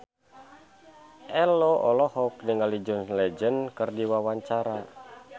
Ello olohok ningali John Legend keur diwawancara